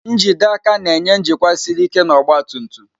njide aka na-enye njikwa siri ike na ọgba tum tum.